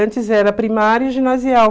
Antes era primário e ginasial.